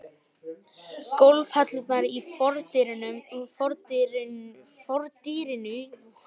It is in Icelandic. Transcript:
Gólfhellurnar í fordyrinu voru rauðar, úr Hólabyrðu.